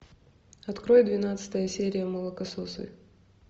открой двенадцатая серия молокососы